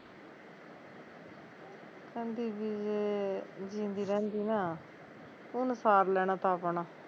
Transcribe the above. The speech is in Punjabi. ਕਹਿੰਦੀ ਵੀ ਜੇ ਜੀਂਦੀ ਰਹਿੰਦੀ ਨਾ ਉਣ ਸਾਰ ਲੈਣਾ ਤਾਂ ਆਪਣਾ